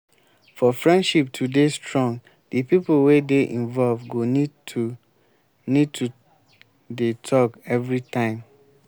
for friendship to dey strong di pipo wey dey involve go need to need to dey talk everytime